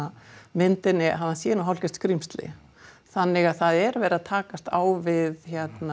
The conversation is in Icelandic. myndinni að hann sé nú hálfgert skrímsli þannig að það er verið að takast á við